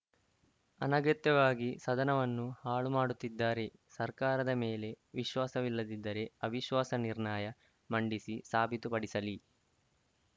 ಅನಗತ್ಯವಾಗಿ ಸದನವನ್ನು ಹಾಳು ಮಾಡುತ್ತಿದ್ದಾರೆ ಸರ್ಕಾರದ ಮೇಲೆ ವಿಶ್ವಾಸವಿಲ್ಲದಿದ್ದರೆ ಅವಿಶ್ವಾಸ ನಿರ್ಣಯ ಮಂಡಿಸಿ ಸಾಬೀತು ಪಡಿಸಲಿ